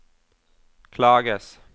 klages